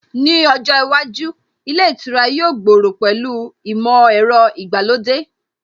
Ní ojó iwájú, ilé ìtura yóò gbòòrò pẹ̀lú ìmọ̀ ẹ̀rọ ìgbàlódé